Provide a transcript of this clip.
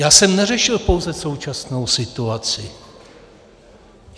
Já jsem neřešil pouze současnou situaci.